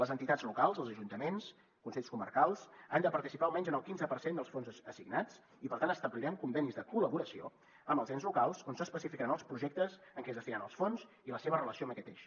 les entitats locals els ajuntaments consells comarcals han de participar almenys en el quinze per cent dels fons assignats i per tant establirem convenis de col·laboració amb els ens locals on s’especificaran els projectes a què es destinen els fons i la seva relació amb aquest eix